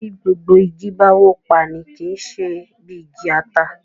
bí Gbogbo ìgi bá wọ pá ní kí ṣe bí igi ata